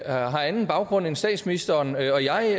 anden baggrund end statsministeren og jeg jeg